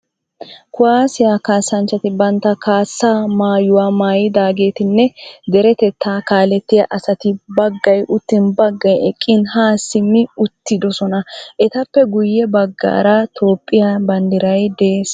Kuwaassiya kaassanchati bantta kaassaa maayuwaa maayidaageetinne deretettaa kaalettiya asati baggay uttin baggay eqqin haa simmi uttidosona. Etappe guyye baggaara Toophphiyaa banddiray de'ees.